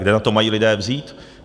Kde na to mají lidé vzít?